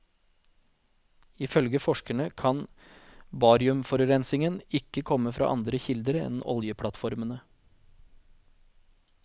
Ifølge forskerne kan bariumforurensningen ikke komme fra andre kilder enn oljeplattformene.